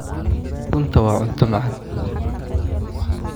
Ukuntu waa cunto macaan.